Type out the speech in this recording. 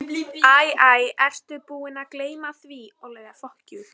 Æ, æ, ertu búinn að gleyma því.